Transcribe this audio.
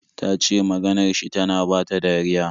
Ta ce maganar shi tana bata dariya.